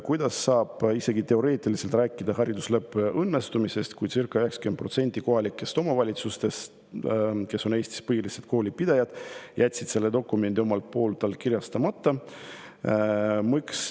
Kuidas saab isegi teoreetiliselt rääkida haridusleppe õnnestumisest, kui circa 90% kohalikest omavalitsustest, kes on Eestis põhilised koolipidajad, jätsid selle dokumendi allkirjastamata?